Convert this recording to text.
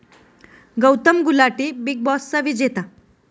Gautam Gulati 'big बॉस'चा विजेता